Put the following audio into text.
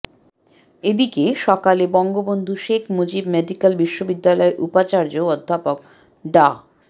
এদিকে সকালে বঙ্গবন্ধু শেখ মুজিব মেডিক্যাল বিশ্ববিদ্যালয়ের উপাচার্য অধ্যাপক ডা